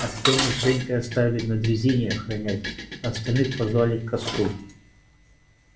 артёма с женькой оставили на дрезине охранять а остальных позвали к костру